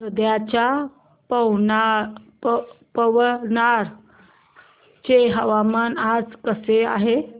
वर्ध्याच्या पवनार चे हवामान आज कसे आहे